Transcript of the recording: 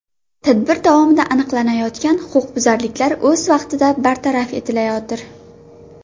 Tadbir davomida aniqlanayotgan huquqbuzarliklar o‘z vaqtida bartaraf etilayotir.